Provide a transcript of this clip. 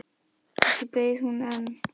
Kannski beið hún enn.